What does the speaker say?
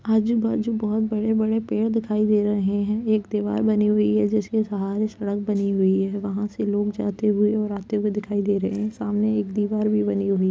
आजू-बाजू बहुत बड़े-बड़े पेड़ दिखाई दे रहे हैं। एक दीवार बनी हुई है जिसके सहारे सड़क बनी हुई है वहाँ से लोग जाते हुए और आते हुए दिखाई दे रहे हैं। सामने एक दीवार भी बनी हुई --